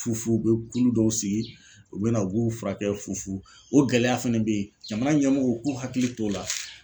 Fufu ,u bɛ kulu dɔw sigi ,u bɛ na u b'u furakɛ fufu , o gɛlɛya fana bɛ yen, jamana ɲɛmɔgɔw k'u hakili to o la.